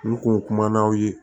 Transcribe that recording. N kun kumana u ye